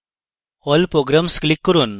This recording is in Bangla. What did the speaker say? all programs click করুন